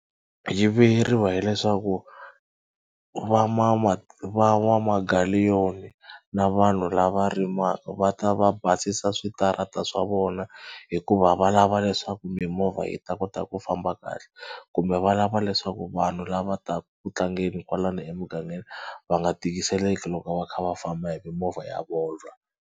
Yi vuyeriwa hileswaku na vanhu lava rimaka va ta va basisa switarata swa vona hikuva va lava leswaku mimovha yi ta kota ku famba kahle kumbe va lava leswaku vanhu lava taka ku tlangeni kwalano emugangeni va nga tikiseleka loko va kha va famba hi mimovha ya vona.